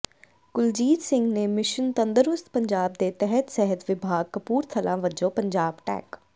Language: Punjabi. ਕੁਲਜੀਤ ਸਿੰਘ ਨੇ ਮਿਸ਼ਨ ਤੰਦਰੁਸਤ ਪੰਜਾਬ ਦੇ ਤਹਿਤ ਸਿਹਤ ਵਿਭਾਗ ਕਪੂਰਥਲਾ ਵੱਲੋਂ ਪੰਜਾਬ ਟੈਕ